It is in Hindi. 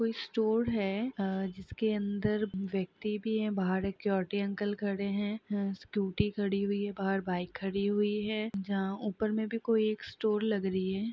कोई स्टोर हैं अ जिसके अंदर व्यक्ति भी हैं बाहर सिक्युरिटी अंकल खड़े हैं स्कूटी खड़ी हैं बाहर बाइक खड़ी हुई हैं जहाँ और ऊपर भी कोई स्टोर लग रही हैं।